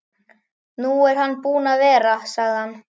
Nú er hann búinn að vera, sagði hann.